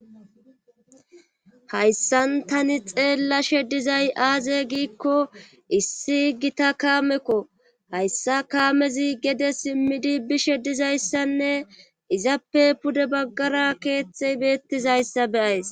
Hayssan tani xeella she dizay aaze giikko issi gita kaamekko hayssa kaamezi gede simmidi bishe dizayssanne izappe pude baggara keeththey beettizayssa beyays